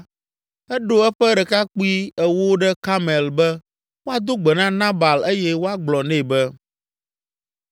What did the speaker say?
eɖo eƒe ɖekakpui ewo ɖe Karmel be woado gbe na Nabal eye woagblɔ nɛ be,